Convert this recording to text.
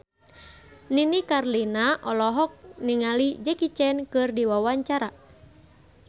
Nini Carlina olohok ningali Jackie Chan keur diwawancara